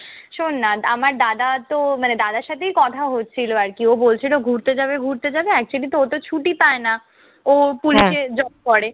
শোন্ না আমার দাদাতো মানে দাদার সাথেই কথা হচ্ছিল আরকি। ও বলছিল ঘুরতে যাবে ঘুরতে যাবে। actually তো ওতো ছুটি পায় না। ও পুলিশে job করে।